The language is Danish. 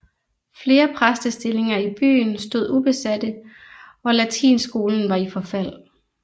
Flere præstestillinger i byen stod ubesate og latinskolen var i forfald